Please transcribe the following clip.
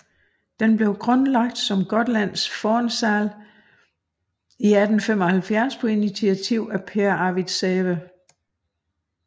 Den blev grundlagt som Gotlands Fornsal i 1875 på initiativ af Pehr Arvid Säve